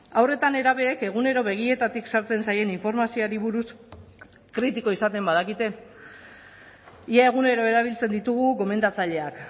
haur eta nerabeek egunero begietatik sartzen zaien informazioari buruz kritiko izaten badakite ia egunero erabiltzen ditugu gomendatzaileak